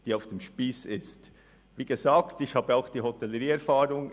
Wie gesagt worden ist, habe ich auch Hotellerieerfahrung.